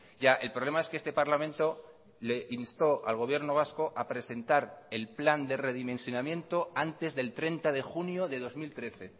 ya el problema es que este parlamento le instó al gobierno vasco a presentar el plan de redimensionamiento antes del treinta de junio de dos mil trece